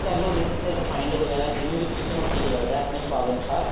ਕਰਲੋ ਨਹੀਂ ਤਾਂ ਫ਼ੇਰ refined ਵਗੈਰਾ ਜਿਵੇਂ ਵੀ ਤੁਹਾਨੂੰ ਠੀਕ ਲੱਗਦਾ ਆਪਣੇ ਸਵਾਦ ਅਨੁਸਾਰ